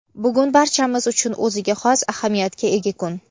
Bugun barchamiz uchun o‘ziga xos ahamiyatga ega kun.